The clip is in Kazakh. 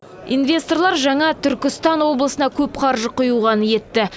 инвесторлар жаңа түркістан облысына көп қаржы құюға ниетті